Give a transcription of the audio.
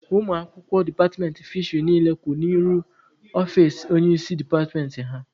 Ụmụ akwụkwọ departmentị fisheri niile kwụ n'ihu ọfici onye isi departmentị ha.